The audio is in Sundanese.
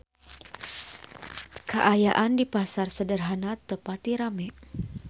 Kaayaan di Pasar Sederhana teu pati rame